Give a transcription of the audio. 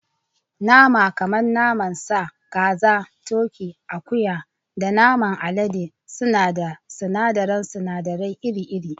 Nama kamar naman sa, kaza, turkey, naman akuya, da naman alade suna ba da sunadaran sunadarai iri-iri.